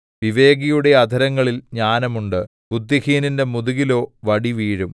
വിവേകിയുടെ അധരങ്ങളിൽ ജ്ഞാനം ഉണ്ട് ബുദ്ധിഹീനന്റെ മുതുകിലോ വടി വീഴും